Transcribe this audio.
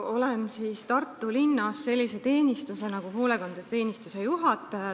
Olen Tartu linnas sellise teenistuse nagu hoolekandeteenistuse juhataja.